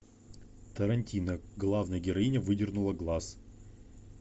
тарантино главная героиня выдернула глаз